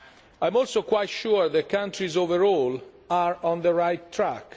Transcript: I am also quite sure that countries overall are on the right track.